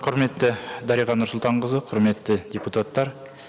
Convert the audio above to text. құрметті дариға нұрсұлтанқызы құрметті депутаттар